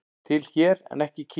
Til hér en ekki í Kína